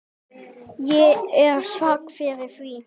Ég er svag fyrir því.